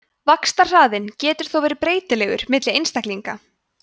vaxtarhraðinn getur þó verið breytilegur milli einstaklinga